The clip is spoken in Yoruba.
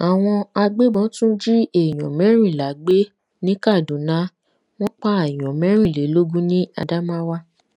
àwọn agbébọn tún jí èèyàn mẹrìnlá gbé ní kaduna wọn pààyàn mẹrìnlélógún ni adamawa